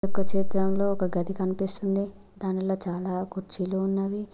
యొక్క చిత్రంలో ఒక గది కనిపిస్తుంది దానిలో చాలా కుర్చీలు ఉన్నవి.